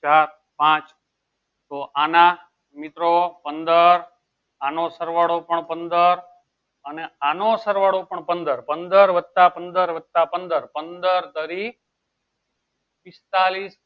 ચાર પાંચ તો આના મિત્રો પંદર આનો સરવાળો પણ પંદર અને આનો સરવાળો પણ પંદર. પંદર વત્તા પંદર વત્તા પંદર પંદર તરી પીસ્તાલીશ.